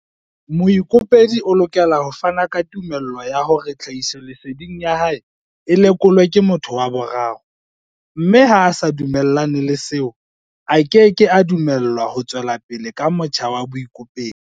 Moikopedi o lokela ho fana ka tumello ya hore tlhahisoleseding ya hae e lekolwe ke motho wa boraro mme ha a sa dumellane le seo, a keke a dumellwa ho tswela pele ka motjha wa boikopedi.